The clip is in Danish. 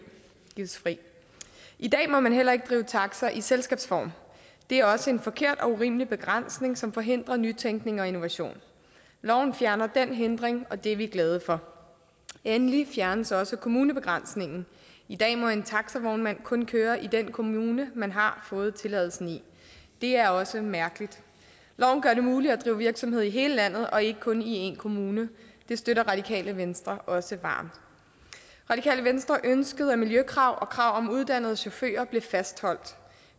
i dag må man heller ikke drive taxa i selskabsform det er også en forkert og urimelig begrænsning som forhindrer nytænkning og innovation loven fjerner den hindring og det er vi glade for endelig fjernes også kommunebegrænsningen i dag må en taxavognmand kun køre i den kommune man har fået tilladelsen i det er også mærkeligt loven gør det muligt at drive virksomhed i hele landet og ikke kun i én kommune det støtter radikale venstre også varmt radikale venstre ønskede at miljøkrav og krav om uddannede chauffører blev fastholdt